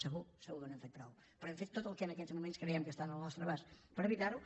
segur segur que no hem fet prou però hem fet tot el que en aquests moments creiem que està al nostre abast per evitar ho